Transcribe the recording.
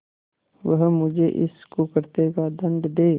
वह मुझे इस कुकृत्य का दंड दे